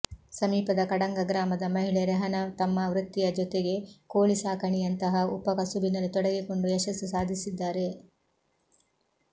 ಸಮೀಪದ ಕಡಂಗ ಗ್ರಾಮದ ಮಹಿಳೆ ರೆಹನಾ ತಮ್ಮ ವೃತ್ತಿಯ ಜೊತೆಗೆ ಕೋಳಿ ಸಾಕಾಣಿಕೆಯಂತಹ ಉಪ ಕಸುಬಿನಲ್ಲಿ ತೊಡಗಿಸಿಕೊಂಡು ಯಶಸ್ಸು ಸಾಧಿಸಿದ್ದಾರೆ